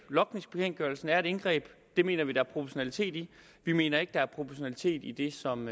logningsbekendtgørelsen er et indgreb det mener vi der er proportionalitet i vi mener ikke at der er proportionalitet i det som